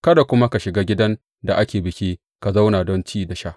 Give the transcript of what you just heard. Kada kuma ka shiga gidan da ake biki ka zauna don ci da sha.